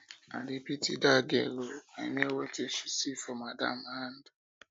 i dey pity dat girl ooo i know wetin she see for her madam hand